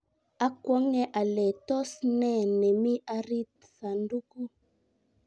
akwonge ale tos ne nemi arit sandukuu.